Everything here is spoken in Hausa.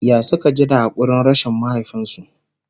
ya Suka ji da hakurin rashin mahaifinsu?